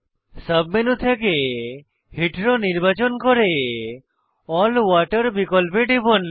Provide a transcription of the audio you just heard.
sub menu থেকে হেতেরও নির্বাচন করে এএলএল ওয়াটার বিকল্পে টিপুন